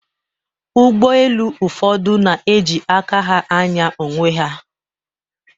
Ụgbọelu ụfọdụ na-eji aka ha ànyá onwe ha